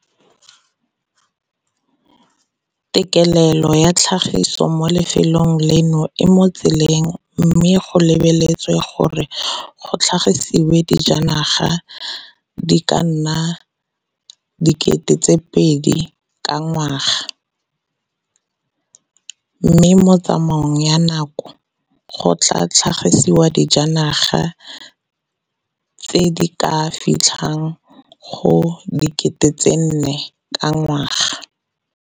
Tekelelo ya tlhagiso mo lefelong leno e mo tseleng mme go lebeletswe gore go tlhagisiwe dijanaga di ka nna 2 000 ka ngwaga, mme mo tsamaong ya nako go tla tlhagisiwa dijanaga tse di ka fitlhang go 4 000 ka ngwaga.